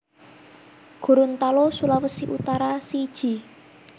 Gorontalo Sulawesi Utara siji